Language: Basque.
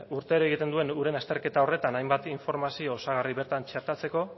urtero egiten duen uren azterketa horretan hainbat informazio osagarri bertan txertatzeko